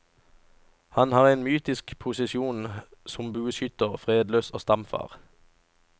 Han har en mytisk posisjon som bueskytter, fredløs og stamfar.